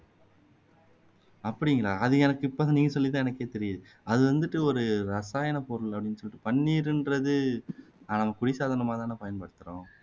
அப்படிங்களா அது எனக்கு இப்போ நீங்க சொல்லி தான் எனக்கே தெரியுது அது வந்துட்டு ஒரு ரசாயனப்பொருள் அப்படின்னு சொல்லிட்டு பன்னீருன்றது ஆஹ் அதை சாதனமா தானே பயன்படுத்துறோம்